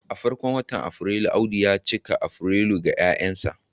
a farkon watan Afrilu, Audu ya cika Afrilu ga 'ya'yansa